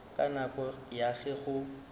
ka nako ya ge go